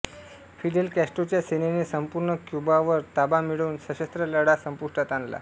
Fidel कॅस्ट्रोच्या सेनेने संपूर्ण क्यूबावर ताबा मिळवून सशस्त्र लढा संपुष्टात आणला